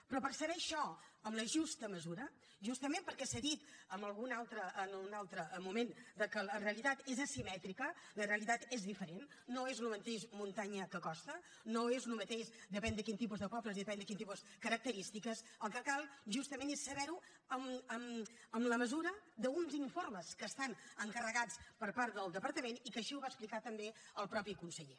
però per saber això en la justa mesura justament perquè s’ha dit en algun altre moment que la realitat és asimètrica la realitat és diferent no és el mateix muntanya que costa no és el mateix depèn de quin tipus de pobles i depèn de quin tipus de característiques el que cal justament és saber ho amb la mesura d’uns informes que estan encarregats per part del departament i que així ho va explicar també el mateix conseller